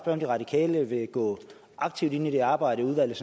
om de radikale vil gå aktivt ind i det arbejde i udvalget